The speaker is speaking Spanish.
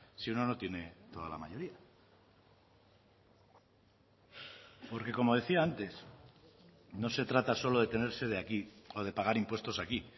si uno no tiene toda la mayoría porque como decía antes no se trata solo de tener sede aquí o de pagar impuestos aquí